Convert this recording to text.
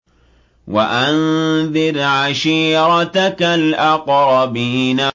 وَأَنذِرْ عَشِيرَتَكَ الْأَقْرَبِينَ